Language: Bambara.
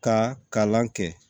Ka kalan kɛ